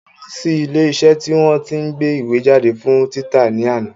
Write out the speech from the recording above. Mo lọ sí ilé iṣẹ́ tí wọ́n tí ń gbé ìwé jáde fún títa ní àná